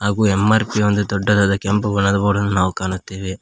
ಹಾಗೂ ಎಮ್_ಆರ್_ಪಿ ಎಂಬ ದೊಡ್ಡದಾದ ಕೆಂಪು ಬಣ್ಣದ ಬೋರ್ಡ ನ್ನು ನಾವು ಕಾಣುತ್ತೇವೆ.